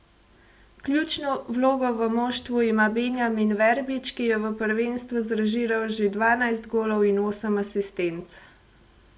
Ključno vlogo v moštvu ima Benjamin Verbič, ki je v prvenstvu zrežiral že dvanajst golov in osem asistenc.